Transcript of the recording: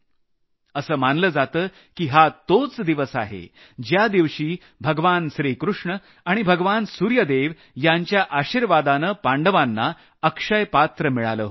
असं मानलं जातं की हा तोच दिवस आहे ज्या दिवशी भगवान श्रीकृष्ण आणि भगवान सूर्यदेव यांच्या आशिर्वादानं पांडवांना अक्षयपात्र मिळालं होतं